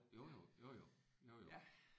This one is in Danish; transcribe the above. Jo jo. Jo jo. Jo jo